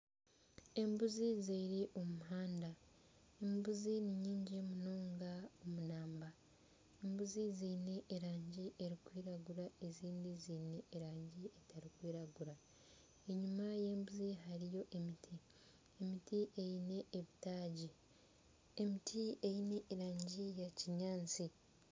Embuzi ziri omu muhanda, embuzi ni nyingi munonga omu namba. Embuzi zeine erangi erikwiragura ezindi zeine erangi etarikwiragura. Enyima y'embuzi hariyo emiti eyine ebitagi. Emiti eyine erangi ya kinyaasti.